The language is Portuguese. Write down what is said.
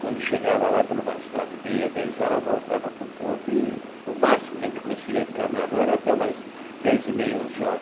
Quando chegava lá por umas nove e meia, dez horas, eu voltava para o ponto e o máximo que a gente conseguia ficar na rua era até umas dez e meia, onze